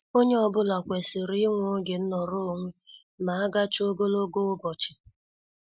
Onye ọ bụla kwesịrị inwe oge nọrọ onwe ma agachaa ogologo ụbọchị.